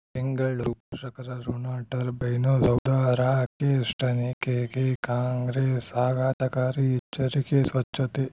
ಬೆಂಗಳೂ ಪೋಷಕರಋಣ ಟರ್ಬೈನು ಸೌಧ ರಾಕೇಶ್ ತನಿಖೆಗೆ ಕಾಂಗ್ರೆಸ್ ಆಘಾತಕಾರಿ ಎಚ್ಚರಿಕೆ ಸ್ವಚ್ಛತೆ